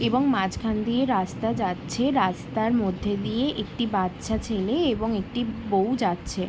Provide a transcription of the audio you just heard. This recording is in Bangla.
এবং মাঝখান দিয়ে রাস্তা যাচ্ছে রাস্তার মধ্যে দিয়ে একটি বাচ্চা ছেলে এবং একটি বউ যাচ্ছে ।